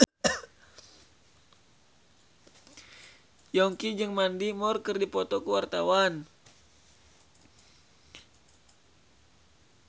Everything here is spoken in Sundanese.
Yongki jeung Mandy Moore keur dipoto ku wartawan